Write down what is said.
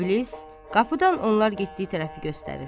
İblis qapıdan onlar getdiyi tərəfi göstərir.